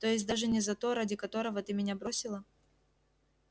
то есть даже не за то ради которого ты меня бросила